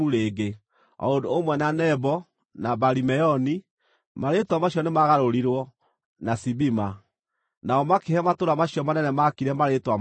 o ũndũ ũmwe na Nebo na Baali-Meoni (marĩĩtwa macio nĩmagarũrirwo) na Sibima. Nao makĩhe matũũra macio manene maakire marĩĩtwa mangĩ.